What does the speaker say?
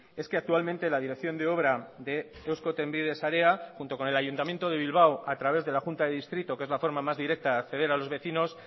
es que actualmente la dirección de obra de eusko trenbide sareak junto con el ayuntamiento de bilbao a través de la junta de distrito que es la forma más directa de acceder a los vecinos